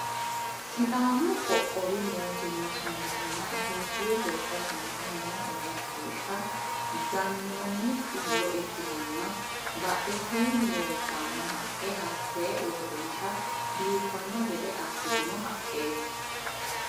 Sidaamu qoqqowi mootimma sumudinna itiyophiyu gobba sumudi noo egensiishsha gannoonni xullo ikkitanna badhesiinni leeltanno haqqe hattee uurrinsha biiffanno gede assitino haqqeeti.